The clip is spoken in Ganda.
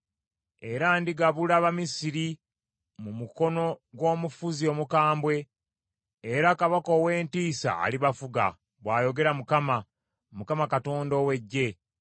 Era ndigabula Abamisiri mu mukono gw’omufuzi omukambwe, era kabaka ow’entiisa alibafuga, bw’ayogera Mukama, Mukama Katonda ow’Eggye.